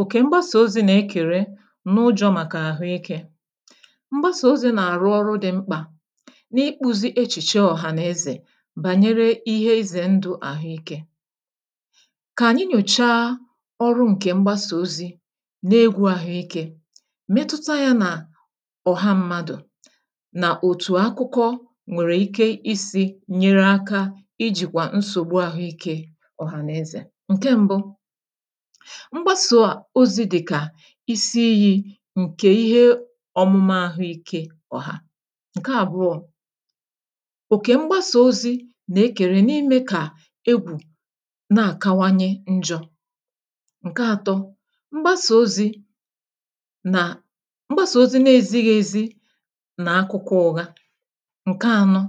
òkè mgbasà ozi̇ na e kèrè n’ụjọ̇ màkà àhụ ike mgbasà ozi̇ nà-àrụ ọrụ dị̇ mkpà n’ịkpụ̇zi̇ echìche ọ̀hànaezè bànyere ihe izè ndụ̇ àhụ ike kà ànyị nyòchaa ọrụ ǹkè mgbasà ozi̇ n’egwu̇ àhụ ike metuta yȧ nà ọ̀ha mmadụ̀ nà òtù akụkọ nwèrè ike isi̇ nyere aka ijìkwà nsògbu àhụ ike ọ̀hànaezè, ǹke mbu isi iyi̇ ǹkè ihe ọ̀mụmụ àhụike ọ̀hà. ǹke àbụọ̇ oke, mgbasa ozi̇ nà-ekèrè n’ime kà egwù na-àkawanye njọ̇. ǹke ȧtọ, mgbasà ozi̇ nà mgbasà ozi̇ na ezighi̇ ezi nà akụkụ ụ̀ha, ǹke ȧnọ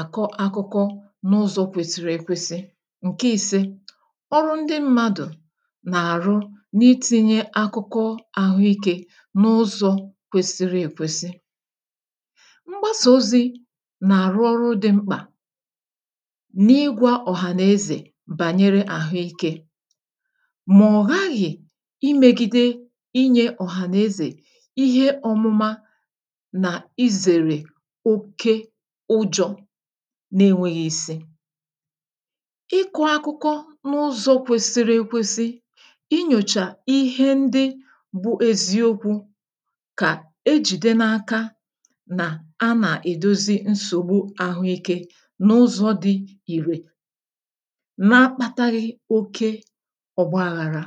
àkọ akụkọ n’ụzọ̇ kwèsìrì ekwesị ǹke ìse ọrụ ndị mmadụ̀ nà-àrụ n’itìnyė akụkọ àhụikė n’ụzọ̇ kwesiri èkwesi mgbasà ozi̇ nà-àrụ ọrụ dị̇ mkpà n’igwȧ ọ̀hànazè bànyere àhụikė mọ̀hàghị̀ imėgide inyė ọ̀hànazè ihe ọmụ̇ma ǹjọ̀ na-enwėghi̇ ìsi ịkụ̇ akụkọ n’ụzọ̇ kwesiri ekwesị inyòchà ihe ndị bụ eziokwu kà ejìde n’aka nà a nà-èdozi nsògbu àhụike n’ụzọ̇ di ìrè n’akpataghị̇ oke ọgbaghàrà